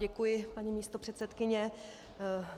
Děkuji, paní místopředsedkyně.